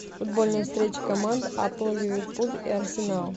футбольная встреча команд апл ливерпуль и арсенал